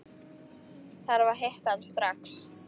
Þarf að hitta hann strax.